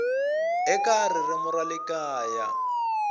eka ririmi ra le kaya